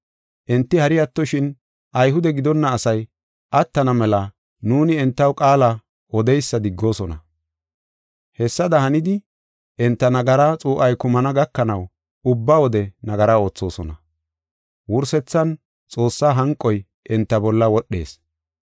Enti hari attoshin, Ayhude gidonna asay attana mela nuuni entaw qaala odeysa diggoosona. Hessada hanidi enta nagaraa xuu7ay kumana gakanaw ubba wode nagara oothosona. Wursethan, Xoossaa hanqoy enta bolla wodhees.